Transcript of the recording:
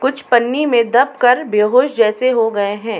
कुछ पन्नी में दब कर बेहोस जैसे हो गए हैं।